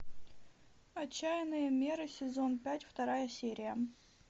отчаянные меры сезон пять вторая серия